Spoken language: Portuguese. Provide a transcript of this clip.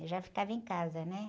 Eu já ficava em casa, né?